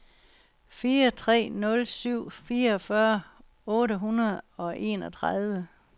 fire tre nul syv fireogfyrre otte hundrede og enogtredive